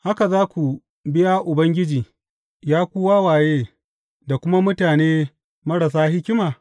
Haka za ku biya Ubangiji, Ya ku wawaye da kuma mutane marasa hikima?